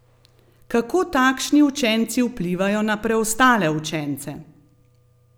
Kako takšni učenci vplivajo na preostale učence?